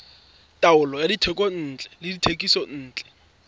taolo ya dithekontle le dithekisontle